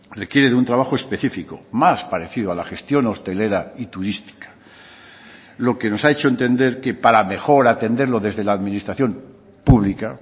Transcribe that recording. requiere de un trabajo específico más parecido a la gestión hostelera y turística lo que nos ha hecho entender que para mejor atenderlo desde la administración pública